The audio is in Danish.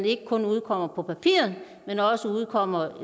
ikke kun udkommer på papir men også udkommer